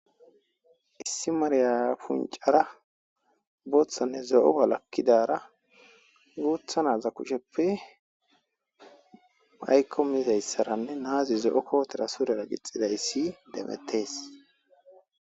Issi mariya puncara booththanne zo'o walakkidara gootha naza kusheppe aykomizayssaranne naazi zo'o kootera surera gixxidayssi demettees.